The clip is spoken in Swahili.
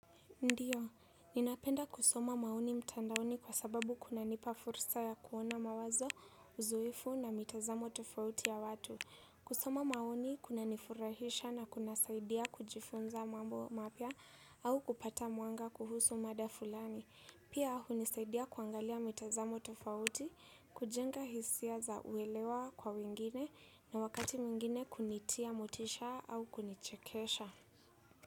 Ndio ninapenda kusoma maoni mtandaoni kwa sababu kuna nipa fursa ya kuona mawazo uzoefu na mitazamo tofauti ya watu. Kusoma maoni kuna nifurahisha na kuna saidia kujifunza mambo mapya au kupata mwanga kuhusu mada fulani. Pia hunisaidia kuangalia mitazamo tofauti kujenga hisia za uelewa kwa wengine na wakati mwingine kunitia motisha au kunichekesha.